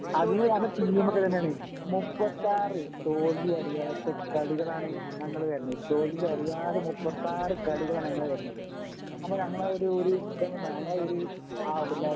Argentina നല്ല ടീമൊക്കെ തന്നാണ് മുപ്പത്താറ് തോൽവി അറിയാത്ത കളികളാണ് ഞങ്ങള് വരുന്നത് തോൽവി അറിയാതെ മുപ്പത്താറ് കളികളാണ് ഞങ്ങള് വരുന്നത് അപ്പോ ഞങ്ങളെ ആ ഒരു ഇതൊന്നു ഞങ്ങളെ ആ ഒരു ആ ലവലൊന്ന് ഇങ്ങള് മനസ്സിലാക്കണം